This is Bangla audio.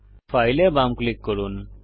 ফাইল এ বাম ক্লিক করুন